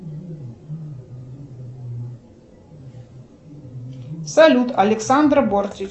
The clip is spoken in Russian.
салют александра бортич